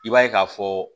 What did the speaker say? I b'a ye k'a fɔ